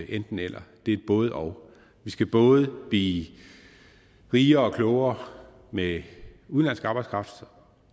enten eller det er et både og vi skal både blive rigere og klogere med udenlandsk arbejdskraft